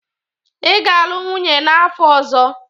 Ị ga-alụ nwunye n'afọ ọzọ!